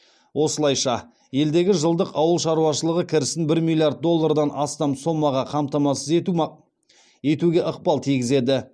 осылайша елдегі жылдық ауыл шаруашылығы кірісін бір миллиард доллардан астам сомаға қамтамасыз етуге ықпалын тигізеді